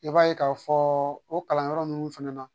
I b'a ye k'a fɔ o kalanyɔrɔ ninnu fɛnɛ na